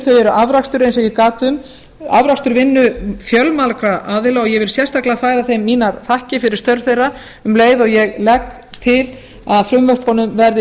eru afrakstur eins og ég gat um afrakstur vinnu fjölmargra aðila og ég vil sérstaklega færa þeim mínar þakkir fyrir störf þeirra um leið og ég legg til að frumvörpunum verði